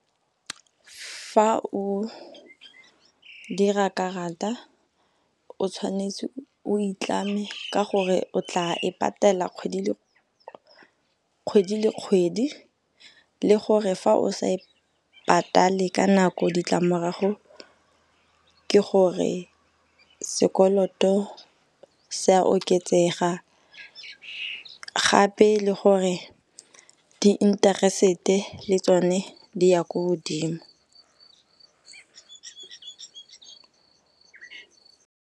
Fa o dira karata o tshwanetse o e tlame ka gore o tla e patela kgwedi le kgwedi, le gore fa o sa e patale ka nako ditlamorago ke gore sekoloto se a oketsega gape le gore di-interest-e le tsone di ya ko godimo.